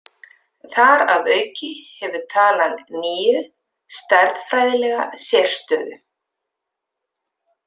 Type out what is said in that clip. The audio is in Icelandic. Þar að auki hefur talan níu stærðfræðilega sérstöðu.